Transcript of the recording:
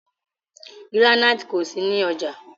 Gíránítì kò sí ní ọjà.